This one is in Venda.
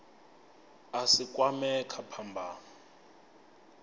a si kwamee kha phambano